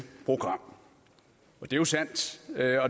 vi også være